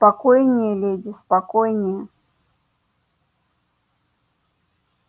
спокойнее леди спокойнее